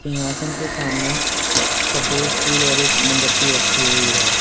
सिंहासन के सामने सफेद फूल और एक मोमबत्ती रखी हुई है।